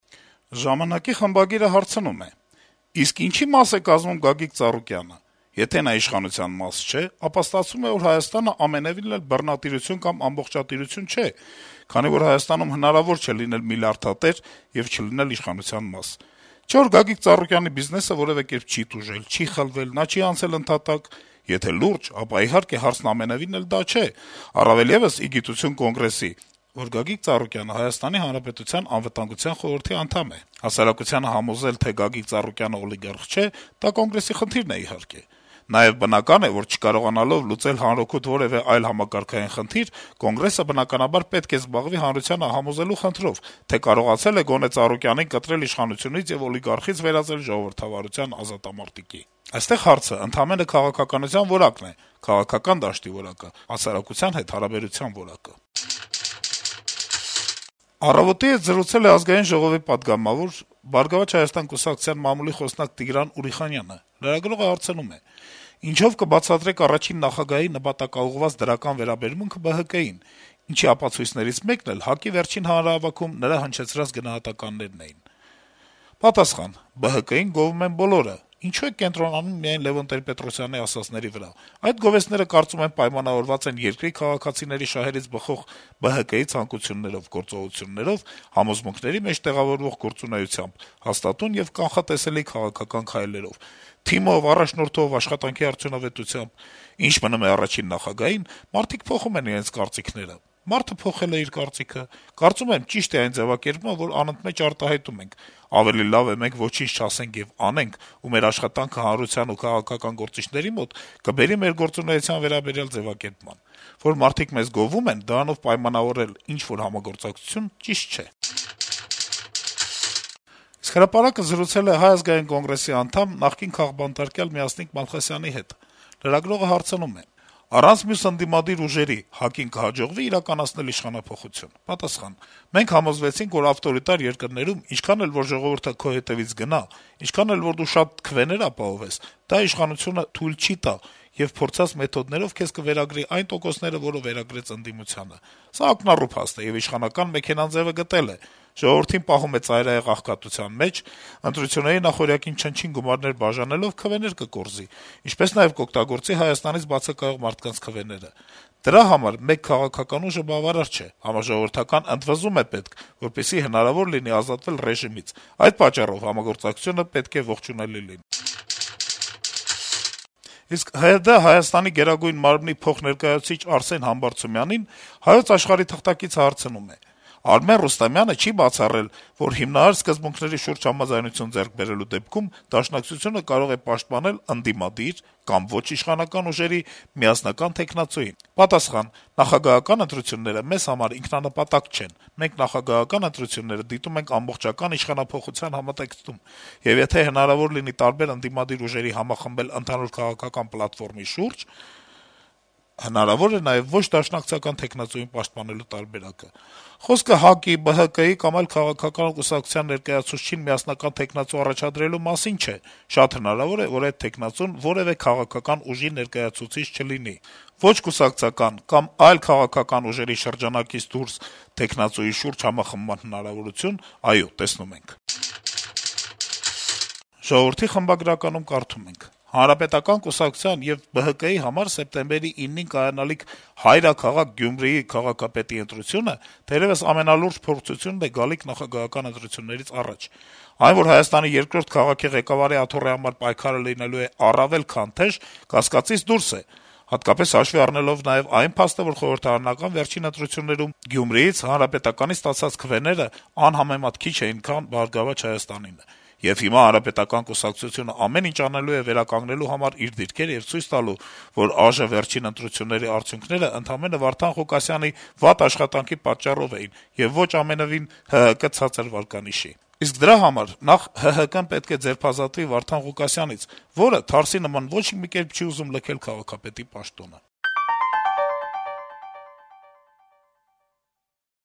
«Ժամանակ»-ի խմբագիրը հարցնում է. - «Իսկ ինչի՞ մաս է կազմում Գագիկ Ծառուկյանը։ Եթե նա իշխանության մաս չէ, ապա ստացվում է, որ Հայաստանը ամենեւին էլ բռնատիրություն կամ ամբողջատիրություն չէ, քանի որ Հայաստանում հնարավոր չէ լինել միլիարդատեր եւ չլինել իշխանության մաս։ Չէ՞ որ Գագիկ Ծառուկյանի բիզնեսը որեւէ կերպ չի տուժել, չի խլվել, նա չի անցել ընդհատակ։ Եթե լուրջ, ապա, իհարկե, հարցն ամենեւին դա չէ, առավել եւս, ի գիտություն Կոնգրեսի, որ Գագիկ Ծառուկյանը Հայաստանի Հանրապետության Անվտանգության խորհրդի անդամ է։ Հասարակությանը համոզել, թե Ծառուկյանն օլիգարխ չէ, դա Կոնգրեսի խնդիրն է` իհարկե։ Նաեւ բնական է, որ չկարողանալով լուծել հանրօգուտ որեւէ այլ համակարգային խնդիր` Կոնգրեսը, բնականաբար, պետք է զբաղվի հանրությանը համոզելու խնդրով` թե կարողացել է գոնե Ծառուկյանին կտրել իշխանությունից եւ օլիգարխից վերածել ժողովրդավարության ազատամարտիկի։ Այստեղ հարցն ընդամենը քաղաքականության որակն է, քաղաքական դաշտի որակը, հասարակության հետ հարաբերության որակը»: «Առավոտ»-ի հետ զրուցել է Ազգային ժողովի պատգամավոր, «Բարգավաճ Հայաստան» կուսակցության մամուլի խոսնակ Տիգրան Ուրիխանյանը: Լրագրողը հարցնում է. - «Ինչո՞վ կբացատրեք առաջին նախագահի նպատակաուղղված դրական վերաբերմունքը ԲՀԿ-ին, ինչի ապացույցներից մեկն էլ ՀԱԿ-ի վերջին հանրահավաքում նրա հնչեցրած գնահատականներն էին»: Պատասխան. - «ԲՀԿ-ին գովում են բոլորը, ինչո՞ւ եք կենտրոնանում միայն Լեւոն Տեր-Պետրոսյանի ասածների վրա: Այդ գովեստները, կարծում եմ, պայմանավորված են երկրի քաղաքացիների շահերից բխող ԲՀԿ-ի ցանկություններով, գործողություններով, համոզմունքների մեջ տեղավորվող գործունեությամբ, հաստատուն եւ կանխատեսելի քաղաքական քայլերով, թիմով, առաջնորդով, աշխատանքի արդյունավետությամբ… Ինչ մնում է առաջին նախագահին՝ մարդիկ փոխում են իրենց կարծիքները, մարդը փոխել է իր կարծիքը: Կարծում եմ՝ ճիշտ է այն ձեւակերպումը, որն անընդմեջ արտահայտում ենք՝ ավելի լավ է մենք ոչինչ չասենք եւ անենք, ու մեր աշխատանքը հանրության եւ քաղաքական գործիչների մոտ կբերի մեր գործունեության վերաբերյալ ձեւակերպման: Որ մարդիկ մեզ գովում են՝ դրանով պայմանավորել ինչ-որ համագործակցություն, ճիշտ չէ»: «Հրապարակ»-ը զրուցել է Հայ ազգային կոնգրեսի անդամ, նախկին քաղբանտարկյալ Մյասնիկ Մալխասյանի հետ: Լրագրողը հարցնում է. - «Առանց մյուս ընդդիմադիր ուժերի ՀԱԿ-ին կհաջողվի՞ իրականացնել իշխանափոխություն»: Պատասխան. - «Մենք համոզվեցինք, որ ավտորիտար երկրներում ինչքան էլ որ ժողովուրդը քո հետեւից գնա, ինչքան էլ որ դու շատ քվեներ ապահովես, դա իշխանությունը թույլ չի տա եւ փորձած մեթոդներով քեզ կվերագրի այն տոկոսները, որը վերագրեց ընդդիմությանը: Սա ակնառու փաստ է, եւ իշխանական մեքենան ձեւը գտել է: Ժողովրդին պահում է ծայրահեղ աղքատության մեջ: Ընտրությունների նախօրյակին չնչին գումարներ բաժանելով՝ քվեներ կկորզի, ինչպես նաեւ կօգտագործի Հայաստանից բացակայող մարդկանց քվեները… Դրա համար մեկ քաղաքական ուժը բավարար չէ, համաժողովրդական ընդվզում է պետք, որպեսզի հնարավոր լինի ազատվել ռեժիմից, այդ պատճառով համագործակցությունը պետք է ողջունելի լինի»: ՀՅԴ Հայաստանի Գերագույն մարմնի փոխներկայացուցիչ Արսեն Համբարձումյանին «Հայոց Աշխարհ»-ի թղթակիցը հարցնում է. - «Արմեն Ռուստամյանը չի բացառել, որ այդ հիմնարար սկզբունքների շուրջ համաձայնություն ձեռք բերելու դեպքում Դաշնակցությունը կարող է պաշտպանել ընդդիմադիր ուժերի «միասնական թեկնածուին»։ Պատասխան. - «Նախագահական ընտրությունները մեզ համար ինքնանպատակ չեն՝ մենք նախագահական ընտրությունները դիտում ենք ամբողջական իշխանափոխության համատեքստում, եւ եթե հնարավոր լինի տարբեր ընդդիմադիր ուժերի համախմբել ընդհանուր քաղաքական պլատֆորմի շուրջ (իսկ այդ պլատֆորմի առանցքը, կրկնում եմ, ամբողջական իշխանափոխություն ենթադրող սահմանադրական փոփոխությունների ընդունումն է), հնարավոր է նաեւ ոչ դաշնակցական թեկնածուի պաշտպանելու տարբերակը։ Խոսքը ՀԱԿ-ի, ԲՀԿ-ի կամ այլ քաղաքական կուսակցության ներկայացուցչին միասնական թեկնածու առաջադրելու մասին չէ. շատ հնարավոր է, որ այդ թեկնածուն որեւէ քաղաքական ուժի ներկայացուցիչ չլինի… Ոչ կուսակցական կամ այլ քաղաքական ուժերի շրջանակից դուրս թեկնածուի շուրջ համախմբման հնարավորություն, այո, տեսնում ենք»։ «Ժողովուրդ» օրաթերթի խմբագրականում կարդում ենք. - «Հանրապետական կուսակցության եւ «Բարգավաճ Հայաստան»-ի համար սեպտեմբերի 9-ին կայանալիք «հայրաքաղաք» Գյումրիի քաղաքապետի ընտրությունը թերեւս ամենալուրջ փորձությունն է գալիք նախագահական ընտրություններից առաջ: Այն, որ Հայաստանի երկրորդ քաղաքի ղեկավարի աթոռի համար պայքարը լինելու է առավել, քան թեժ, կասկածից դուրս է` հատկապես հաշվի առնելով նաեւ այն փաստը, որ խորհրդարանական վերջին ընտրություններում Գյումրիից Հանրապետականի ստացած քվեները անհամեմատ քիչ էին, քան «Բարգավաճ Հայաստան»-ինը: Եվ հիմա Հանրապետական կուսակցությունն ամեն ինչ անելու է վերականգնելու համար իր դիրքերը եւ ցույց տալու, որ ԱԺ վերջին ընտրությունների արդյունքներն ընդամենը Վարդան Ղուկասյանի վատ աշխատանքի պատճառով էին, եւ ոչ ամենեւին` ՀՀԿ ցածր վարկանիշի: Իսկ դրա համար նախ ՀՀԿ-ն պետք է ձերբազատվի Վարդան Ղուկասյանից, որը, թարսի նման, ոչ մի կերպ չի ուզում լքել քաղաքապետի պաշտոնը»: